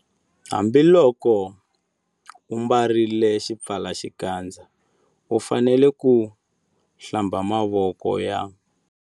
Hambiloko u ambarile xipfalaxikandza u fanele ku- Hlamba mavoko ya.